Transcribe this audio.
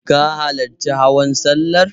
Ka halarci hawan sallar?